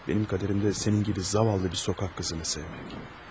Mənim qədərim də sənin kimi zavallı bir küçə qızını sevmək.